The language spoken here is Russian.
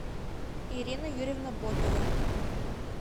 ирина юрьевна ботова